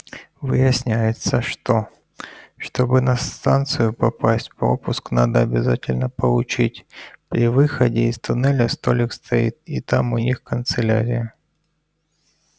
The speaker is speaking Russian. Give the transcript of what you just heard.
выясняется что чтобы на станцию попасть пропуск надо обязательно получить при выходе из туннеля столик стоит и там у них канцелярия